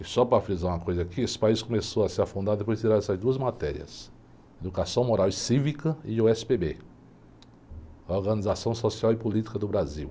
E só para frisar uma coisa aqui, esse país começou a se afundar depois de tirar essas duas matérias, educação moral e cívica e o esse-pê-bê, Organização Social e Política do Brasil.